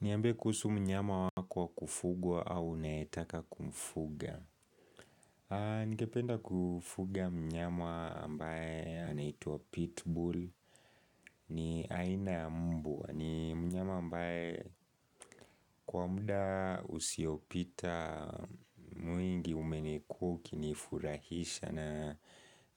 Niambie kuhusu mnyama wako wa kufugwa au unayetaka kumfuga. Ningependa kufuga mnyama ambaye anaitwa pitbull ni aina ya mbwa. Ni mnyama ambaye kwa muda usiopita mwingi umenikuwaukinifurahisha. Na